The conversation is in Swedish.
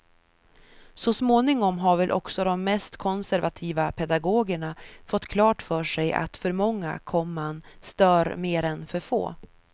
Så småningom har väl också de mest konservativa pedagogerna fått klart för sig att för många komman stör mer än för få.